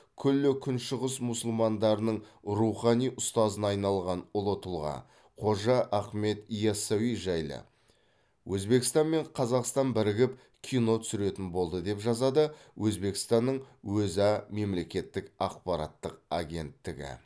күллі күншығыс мұсылмандарының рухани ұстазына айналған ұлы тұлға қожа ахмет яссауи жайлы өзбекстан мен қазақстан бірігіп кино түсіретін болды деп жазады өзбекстанның өза мемлекеттік ақпараттық агенттігі